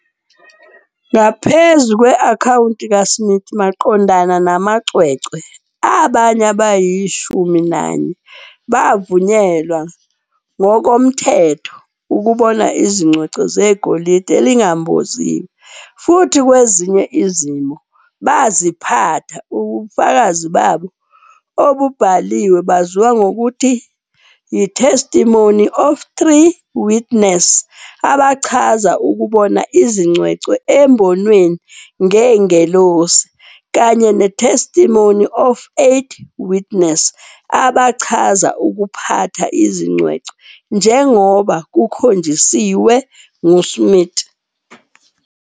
Ngaphezu kwe-akhawunti kaSmith maqondana namacwecwe, abanye abayishumi nanye bavunyelwa ngokomthetho ukubona izingcwecwe zegolide ezingamboziwe futhi, kwezinye izimo, baziphatha. Ubufakazi babo obubhaliwe baziwa ngokuthi yi-Testimony of Three Witness, abachaza ukubona izingcwecwe embonweni ngengelosi, kanye ne-Testimony of Eight Witness, abachaza ukuphatha izingcwecwe njengoba kukhonjiswe nguSmith.